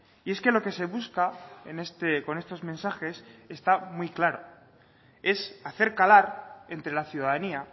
y es que lo que se busca con estos mensajes está muy claro es hacer calar entre la ciudadanía